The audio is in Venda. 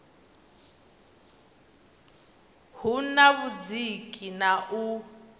hu na vhudziki na u